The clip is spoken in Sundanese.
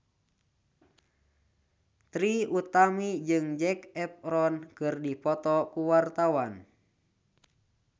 Trie Utami jeung Zac Efron keur dipoto ku wartawan